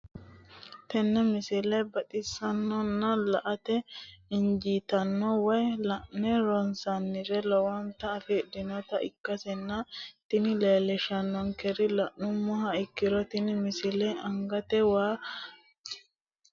tenne misile baxisannonna la"ate injiitanno woy la'ne ronsannire lowote afidhinota ikkitanna tini leellishshannonkeri la'nummoha ikkiro tini misile angate waa wortanni noo manchonna anga haayshiranni noo manchooti me